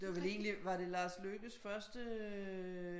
Det var vel egentlig var det Lars Lykkes første